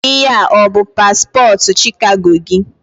Ihe a o-bụ paspọtụ Chicago gị?